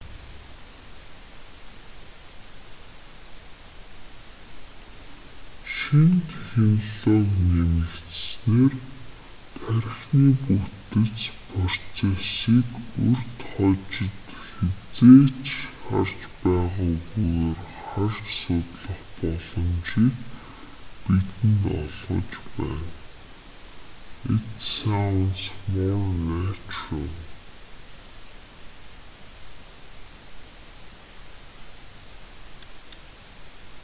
шинэ технологи нэмэгдсэнээр тархины бүтэц процессыг урьд хожид хэзээ ч харж байгаагүйгээр харж судлах боломжийг бидэнд олгож байна it sounds more natural